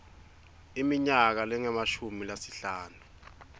iminyaka lengemashumi lasihlanu